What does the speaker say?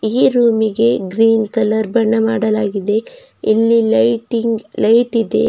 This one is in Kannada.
ಈ ರೂಮಿಗೆ ಗ್ರೀನ್ ಕಲರ್ ಬಣ್ಣ ಮಾಡಲಾಗಿದೆ ಇಲ್ಲಿ ಲೈಟಿಂಗ್ ಲೈಟಿದೆ.